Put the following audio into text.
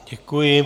Děkuji.